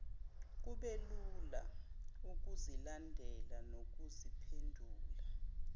kubelula ukuzilandela nokuziphendula